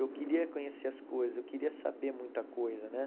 Eu queria conhecer as coisas, eu queria saber muita coisa, né?